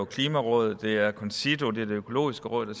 klimarådet det er concito det er det økologiske råd der